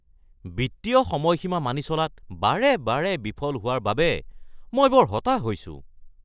বিত্তীয় সময়সীমা মানি চলাত বাৰে বাৰে বিফল হোৱাৰ বাবে মই বৰ হতাশ হৈছোঁ।